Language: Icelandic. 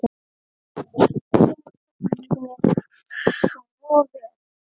Þú tókst mér svo vel.